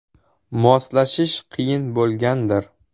Moslashish qiyin bo‘lgandir?